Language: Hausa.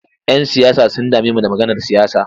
Yan siyasa sun dame mu da maganar siyasa.